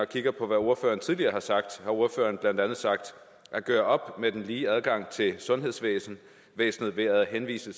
kigger på hvad ordføreren tidligere har sagt ordføreren har blandt andet sagt at gøre op med den lige adgang til sundhedsvæsnet ved at henvise